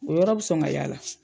O yɔrɔ be sɔn ŋa y'a la.